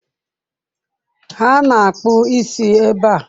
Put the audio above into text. Ha na akpụ isi ebe a.